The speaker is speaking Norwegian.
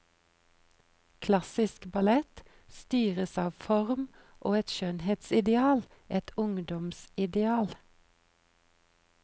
Klassisk ballett styres av form og et skjønnhetsideal, et ungdoms ideal.